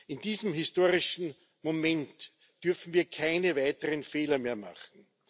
In diesem historischen Moment dürfen wir keine weiteren Fehler mehr machen.